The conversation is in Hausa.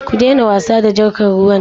Ku daina wasa da jarkar ruwan nan.